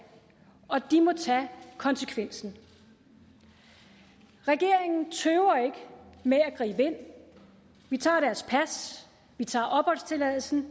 og de må tage konsekvensen regeringen tøver ikke med at gribe ind vi tager deres pas vi tager opholdstilladelsen